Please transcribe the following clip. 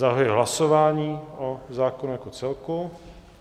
Zahajuji hlasování o zákonu jako celku.